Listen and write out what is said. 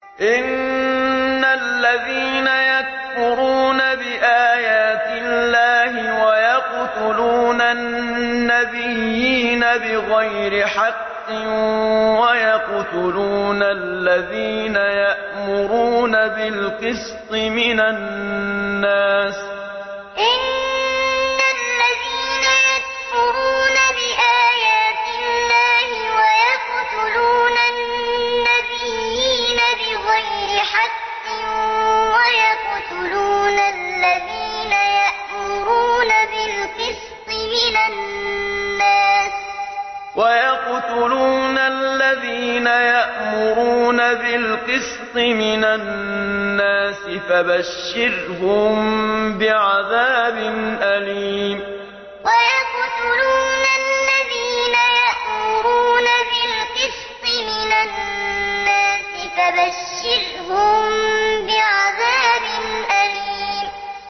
إِنَّ الَّذِينَ يَكْفُرُونَ بِآيَاتِ اللَّهِ وَيَقْتُلُونَ النَّبِيِّينَ بِغَيْرِ حَقٍّ وَيَقْتُلُونَ الَّذِينَ يَأْمُرُونَ بِالْقِسْطِ مِنَ النَّاسِ فَبَشِّرْهُم بِعَذَابٍ أَلِيمٍ إِنَّ الَّذِينَ يَكْفُرُونَ بِآيَاتِ اللَّهِ وَيَقْتُلُونَ النَّبِيِّينَ بِغَيْرِ حَقٍّ وَيَقْتُلُونَ الَّذِينَ يَأْمُرُونَ بِالْقِسْطِ مِنَ النَّاسِ فَبَشِّرْهُم بِعَذَابٍ أَلِيمٍ